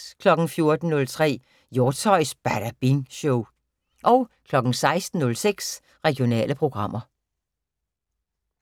14:03: Hjortshøjs Badabing Show 16:06: Regionale programmer